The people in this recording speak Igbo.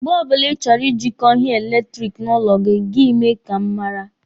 Mgbe ọbụla Ị chọrọ Ị jịkọ ihe eletiriki n'ụlọ gị, gị mee ka m mara.